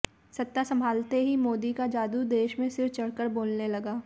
सत्ता संभालते ही मोदी का जादू देश में सिर चढ़कर बोलने लगा